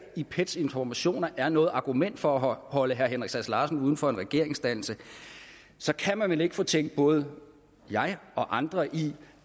i pets informationer er noget argument for at holde herre henrik sass larsen uden for en regeringsdannelse kan man vel ikke fortænke både mig og andre i